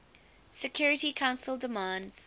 security council demands